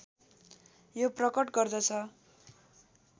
यो प्रकट गर्दछ